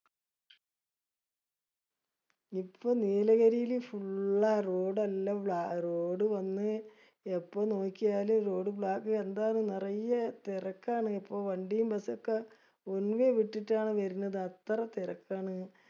ഇപ്പൊ നീലഗിരില് full ആ road എല്ലാം road വന്ന് എപ്പോ നോക്കിയാലും roadblock. എന്താണ് നറയെ തെരക്കാണ്. ഇപ്പൊ വണ്ടിയും bus ഒക്കെ വിട്ടിട്ടാണ് വരണത്. അത്ര തെരക്കാണ്.